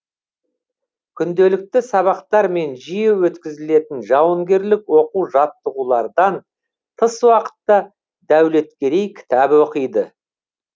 күнделікті сабақтар мен жиі өткізілетін жауынгерлік оқу жаттығулардан тыс уақытта дәулеткерей кітап оқиды